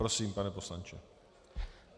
Prosím, pane poslanče.